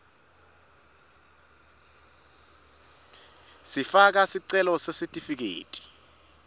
kufaka sicelo sesitifiketi